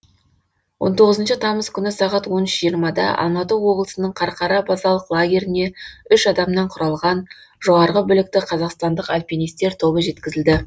он тоғызыншы тамыз күні сағат он үш жиырмада алматы облысының қарқара базалық лагеріне үш адамнан құралған жоғарғы білікті қазақстандық альпинистер тобы жеткізілді